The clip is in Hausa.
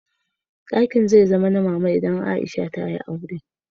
Dakin zai koma na Mama idan Aisha ta yi aure.